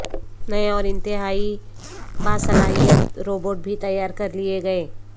نئے اور انتہائی باصلاحیت روبوٹ بھی تیار کرلئے گئے